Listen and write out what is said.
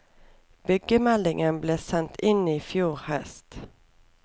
Byggemelding ble sendt inn i fjor høst.